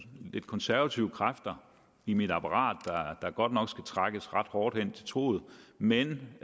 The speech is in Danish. lidt konservative kræfter i mit apparat der godt nok skal trækkes ret hårdt hen til truget men